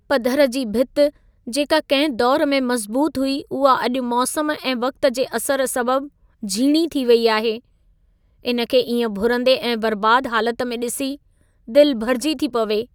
पधर जी भिति, जेका कंहिं दौर में मज़बूत हुई उहा अॼु मौसम ऐं वक़्त जे असर सबब झीणी थी वेई आहे, इन खे इएं भुरंदे ऐं बर्बाद हालत में ॾिसी दिलि भरिजी थी पवे।